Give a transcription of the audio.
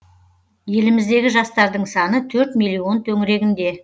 еліміздегі жастардың саны төрт миллион төңірегінде